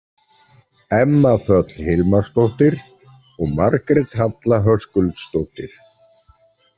Emma Þöll Hilmarsdóttir og Margrét Halla Höskuldsdóttir.